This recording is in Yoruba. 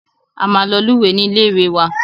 A máa lọ lúwẹ̀ẹ́ ní ilé ìwé wa.